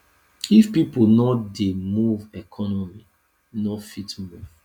if pipo no dey move economy no fit move